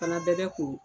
Fana bɛɛ bɛ ko